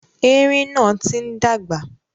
Erin náà ti ń dàgbà.